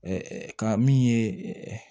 ka min ye